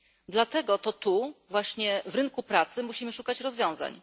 Dlatego właśnie na rynku pracy musimy szukać rozwiązań.